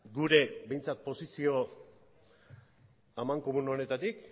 gure behintzat posizio amankomun honetatik